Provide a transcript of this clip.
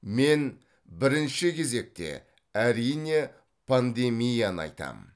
мен бірінші кезекте әрине пандемияны айтамын